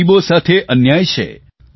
ગરીબો સાથે અન્યાય છે